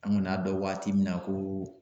An kɔni y'a dɔn waati min na ko